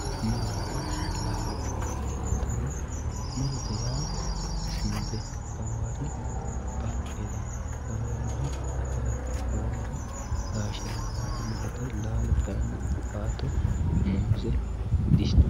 Muuronna laallo yaamaantanno muurotte yaa sinde laawari baaqella laawanori ataara laawari gaashe laawari muurotte laallo kaayinni awukato muuze gishixu